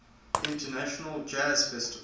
international jazz festival